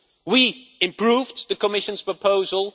We improved the Commission's proposal.